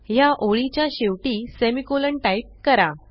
ह्या ओळीच्या शेवटी सेमिकोलॉन टाईप करा